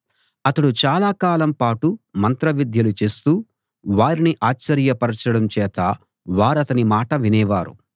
అతడు చాలాకాలం పాటు మంత్రవిద్యలు చేస్తూ వారిని ఆశ్చర్యపరచడం చేత వారతని మాట వినేవారు